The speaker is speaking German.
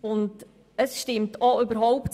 Dieses Recht hat er.